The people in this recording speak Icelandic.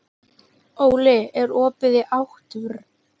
Óli, er opið í ÁTVR?